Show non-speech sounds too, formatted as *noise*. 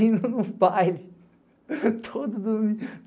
indo num baile *laughs*